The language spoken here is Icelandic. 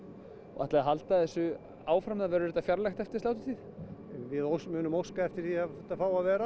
ætliði að halda þessu áfram eða verður þetta fjarlægt eftir sláturtíð við munum óska eftir því að þetta fái að vera